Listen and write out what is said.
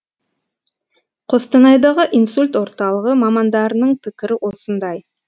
қостанайдағы инсульт орталығы мамандарының пікірі осындай